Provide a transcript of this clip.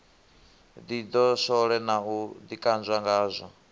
ḓidoswole na u ḓikanzwa ngazwo